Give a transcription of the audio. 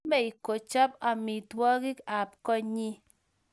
Chamei kochap amitwagik ab koinyi